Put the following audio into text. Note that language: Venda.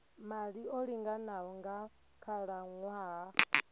maḓi o linganaho nga khalaṅwaha